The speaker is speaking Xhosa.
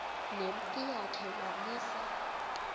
nempi yakhe wamisa